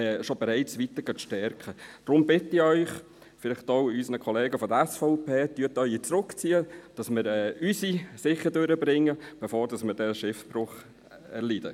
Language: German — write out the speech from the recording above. Deshalb bitte ich Sie, und vielleicht auch unsere Kollegen von der SVP: Ziehen Sie Ihre Planungserklärung zurück, damit wir unsere sicher durchbringen, bevor wir Schiffbruch erleiden.